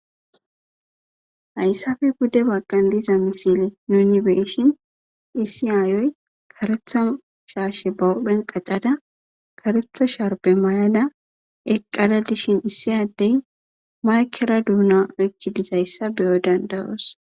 Hayssappe pude baggan diza missile nuni bee'shin issi aayoy kareththa shashe ba huphen kaccada ,kareththa sharbbe mayadda Eqqada diishin issi adey maykkera duna uykkiddi dezayssa beyoy danda'os.